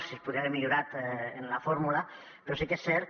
si es podria haver millorat en la fórmula però sí que és cert que